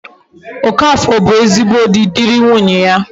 Okafor bu ezigbo di, diri nwunye ya